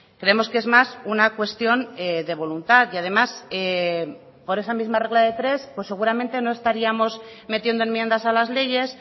creemos que es más una cuestión de voluntad y además por esa misma regla de tres pues seguramente no estaríamos metiendo enmiendas a las leyes